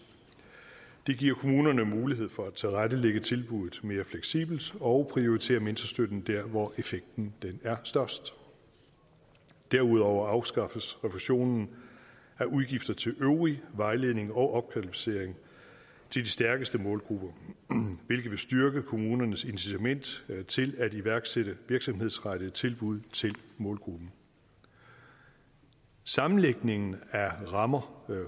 det giver kommunerne mulighed for at tilrettelægge tilbuddet mere fleksibelt og prioritere mentorstøtten der hvor effekten er størst derudover afskaffes refusionen af udgifter til øvrig vejledning og opkvalificering af de stærkeste målgrupper hvilket vil styrke kommunernes incitament til at iværksætte virksomhedsrettede tilbud til målgruppen sammenlægningen af rammer